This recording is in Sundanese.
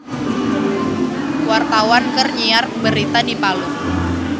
Wartawan keur nyiar berita di Palu